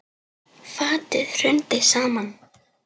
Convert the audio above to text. Fatið hrundi saman.